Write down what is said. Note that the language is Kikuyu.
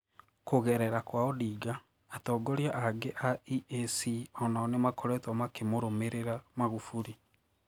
Kũgerera kwa Odinga, atongoria angi a EAC onao nimakoretwo makimũrũmĩrĩra Magufuli